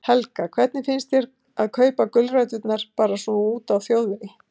Helga: Hvernig finnst þér að kaupa gulræturnar bara svona úti á þjóðvegi?